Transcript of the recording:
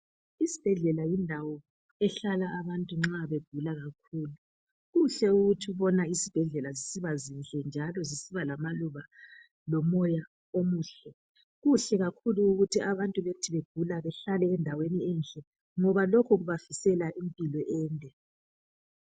Isibhedlela yindawo ehlala abantu nxa begula kakhulu. Kuhle ukuthi ukubona izibhedlela njalo zisiba zinhle lamaluba lomoya omuhle. Kuhle kakhulu ukuthi abantu bethi begula behlale endaweni enhle ngoba lokhu kubafisela impilo ende.